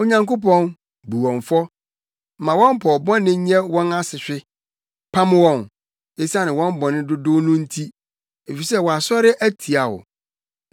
Onyankopɔn, bu wɔn fɔ! Ma wɔn pɔw bɔne nyɛ wɔn asehwe. Pam wɔn; esiane wɔn bɔne dodow no nti, efisɛ wɔasɔre atia wo.